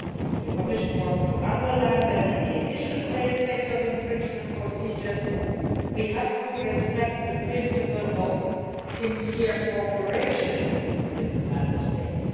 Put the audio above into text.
The Commission wants to underline that in the initial phase of infringement procedures we have to respect the principle of sincere cooperation with the Member States.